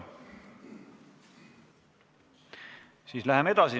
Siis läheme edasi.